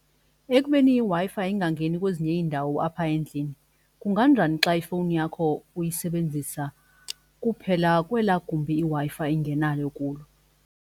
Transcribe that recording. Ekubeni iWi-Fi ingangeni kwezinye iindawo apha endlini kunganjani xa ifowuni yakho uyisebenzisa kuphela kwelaa gumbi iWi-Fi ingenayo kulo.